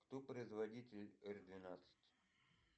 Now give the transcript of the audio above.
кто производитель р двенадцать